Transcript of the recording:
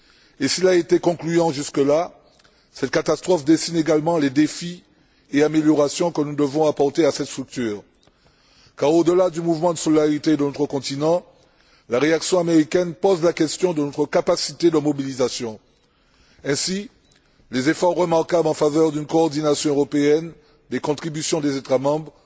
Et cela a été concluant jusque là. Cette catastrophe dessine également les défis et les améliorations que nous devons apporter à cette structure, car au delà du mouvement de solidarité de notre continent, la réaction américaine pose la question de notre capacité de mobilisation. Ainsi, les efforts remarquables en faveur d'une coordination européenne, les contributions des États membres